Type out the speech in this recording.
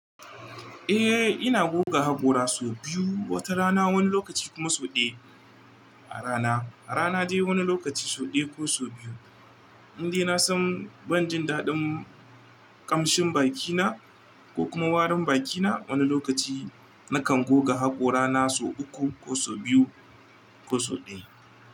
Eh, ina goga haƙora so biyu wata rana wani lokaci kuma so ɗaya a rana. A rana dai wani lokaci so ɗaya ko so biyu. Indai na san ban jin daɗin ƙamshin bakina ko kuma warin bakina wani lokaci, na kan goga haƙora na so uku ko so biyu ko so ɗaya.